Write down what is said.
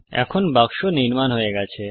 এখন বাক্স নির্মাণ হয়ে গেছে